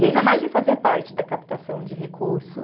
E ainda mais de fazer parte da captação de recurso.